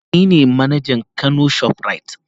Eh nine manajan kano shoprite.